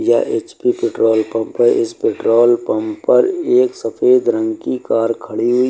यह H P petrol pump है इस पेट्रोल पंप पर एक सफेद रंग की कार खड़ी हुई --